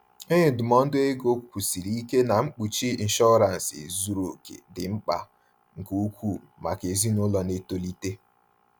Onye ndụmọdụ ego kwusiri ike na mkpuchi inshọransị zuru oke dị mkpa nke ukwuu maka ezinụlọ na-etolite.